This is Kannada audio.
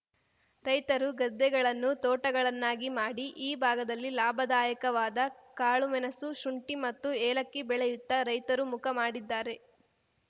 ರೈತರು ಗದ್ದೆಗಳನ್ನು ತೋಟಗಳನ್ನಾಗಿ ಮಾಡಿ ಈ ಭಾಗದಲ್ಲಿ ಲಾಭದಾಯಕವಾದ ಕಾಳುಮೆಣಸು ಶುಂಠಿ ಮತ್ತು ಏಲಕ್ಕಿ ಬೆಳೆಯುತ್ತ ರೈತರು ಮುಖ ಮಾಡಿದ್ದಾರೆ